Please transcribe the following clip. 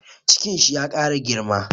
Cikin shi ya ƙara girma